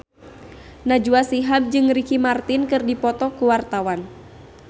Najwa Shihab jeung Ricky Martin keur dipoto ku wartawan